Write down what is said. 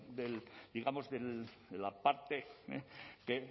digamos de la parte de